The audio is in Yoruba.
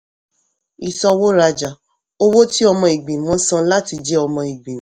ìsanwó-rajá owó tí ọmọ ìgbìmọ̀ san láti jẹ ọmọ-ìgbìmọ̀.